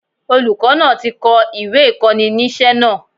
Olùkó náà ti ko ìwé ìkóninísé náà